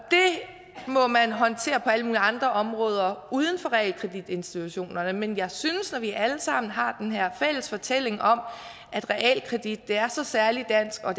må man håndtere på alle mulige andre områder uden for realkreditinstitutterne men jeg synes at når vi alle sammen har den her fælles fortælling om at realkreditten er så særlig dansk og